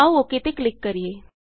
ਆਉ ਓਕ ਤੇ ਕਲਿਕ ਕਰੀਏ